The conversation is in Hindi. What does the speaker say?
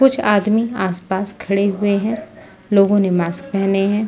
कुछ आदमी आस पास खड़े हुए है लोगो ने मास्क पहने है।